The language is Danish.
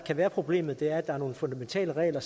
det være problemet at der er nogle fundamentale regler